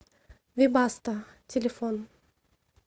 вибасто телефон